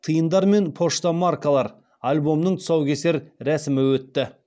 тиындар мен пошта маркалар альбомының тұсаукесер рәсімі өтті